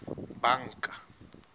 banka